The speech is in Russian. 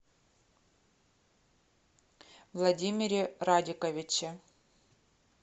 владимире радиковиче